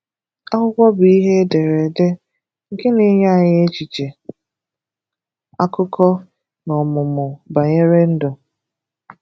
Akwụkwọ bụ ihe e dere ede, nke na-enye anyị echiche, akụkọ, na ọmụmụ banyere ndụ.